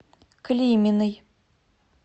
климиной